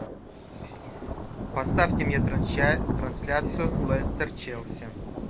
поставьте мне трансляцию лестер челси